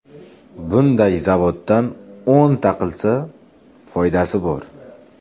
Bunday zavoddan o‘nta qilsa, foydasi bor.